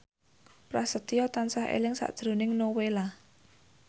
Prasetyo tansah eling sakjroning Nowela